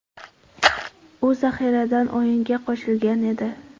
U zaxiradan o‘yinga qo‘shilgan edi.